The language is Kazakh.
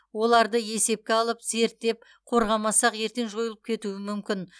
оларды есепке алып зерттеп қорғамасақ ертең жойылып кетуі мүмкін